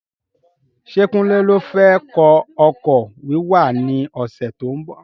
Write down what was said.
Ṣé kunle ló fẹ kọ́ ọkọ̀ wíwà ní ọsẹ tó ń bọ̀?